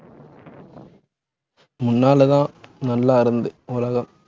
முன்னாலதான், நல்லா இருந்து உலகம்